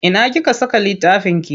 Ina kika saka littafinki?